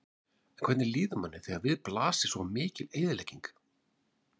En hvernig líður manni þegar við blasir svo mikil eyðilegging?